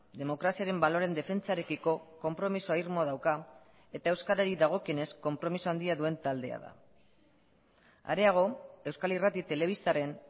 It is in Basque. demokraziaren baloreen defentsarekiko konpromiso irmoa dauka eta euskarari dagokionez konpromiso handia duen taldea da areago euskal irrati telebistaren